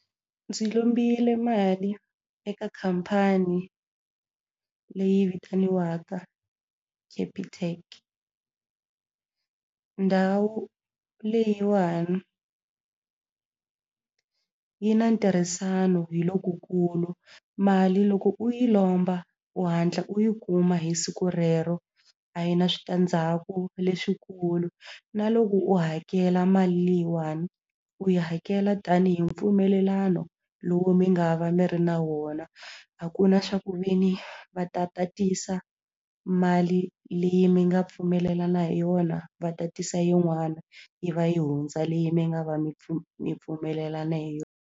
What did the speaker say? Ndzi lombile mali eka khampani leyi vitaniwaka Capitec ndhawu leyiwani yi na ntirhisano hi lokukulu mali loko u yi lomba u hatla u yi kuma hi siku rero a yi na switandzhaku leswikulu na loko u hakela mali leyiwani u yi hakela tanihi mpfumelelano lowu mi nga va mi ri na wona a ku na swa ku ve ni va ta tatisa mali leyi mi nga pfumelelana hi yona va tatisa yin'wana yi va yi hundza leyi mi nga va mi mi pfumelelana hi .